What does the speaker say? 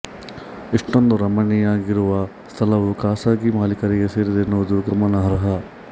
ಇಷ್ಟೊಂದು ರಮಣೀಯವಾಗಿರುವ ಸ್ಥಳವು ಖಾಸಗಿ ಮಾಲೀಕರಿಗೆ ಸೇರಿದೆ ಎನ್ನುವುದು ಗಮನಾರ್ಹ